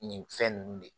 Nin fɛn ninnu de